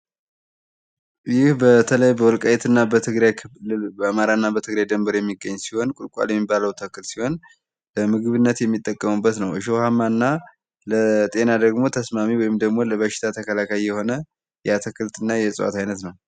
ይህ በተለይ በወልቃይት እና በትግራይ ክልል በአማራ እና በትግራይ ድንበር የሚገኝ ሲሆን ቁልቋል የሚባለው ተክል ሲሆን በምግብነት የሚጠቀሙበት ነው። እሾሃማና ለጤና ደግሞ ተስማሚ ወይም ደግሞ ለበሽታ ተከላካይ የሆነ የአትክልትና የእጽዋት አይነት ነው።